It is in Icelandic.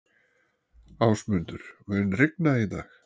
Ásmundur, mun rigna í dag?